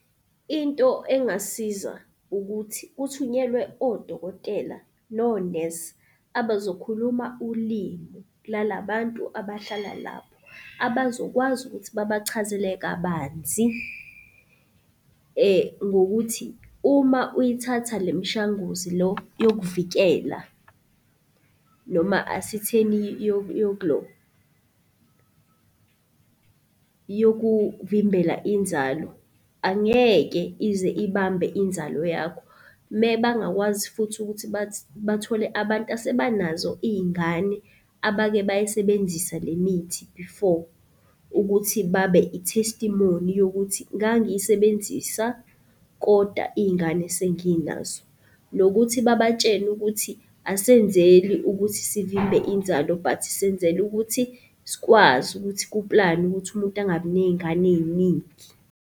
Into engasiza ukuthi kuthunyelwe odokotela nonesi abazokhuluma ulimi lalabantu abahlala lapho, abazokwazi ukuthi babachazele kabanzi ngokuthi uma uyithatha le mishanguzi lo yokuvikela noma asithini yokuvimbela inzalo angeke ize ibambe inzalo yakho. Mebangakwazi futhi ukuthi bathole abantu asebanazo iy'ngane abake bayisebenzisa le mithi before ukuthi babe i-testimony yokuthi, ngangiyisebenzisa kodwa iy'ngane senginazo. Nokuthi babatshele ukuthi asenzeli ukuthi sivimbe inzalo but senzela ukuthi sikwazi ukuthi ku-plan-we ukuthi umuntu angabi ney'ngane ey'ningi.